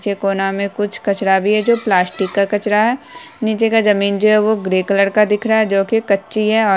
नीचे कोना में कुछ कचरा भी है जो प्लास्टिक का कचरा है नीचे का जमीन जो है वो ग्रे कलर की दिख रहा है जो की कच्ची है।